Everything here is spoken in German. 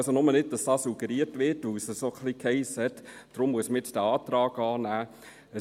Nur, damit dies nicht suggeriert wird, weil es diesbezüglich ein bisschen hiess, dafür müsse dieser Antrag angenommen werden.